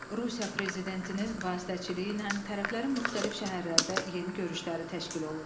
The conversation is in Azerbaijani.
Rusiya prezidentinin vasitəçiliyi ilə tərəflərin müxtəlif şəhərlərdə yeni görüşləri təşkil olundu.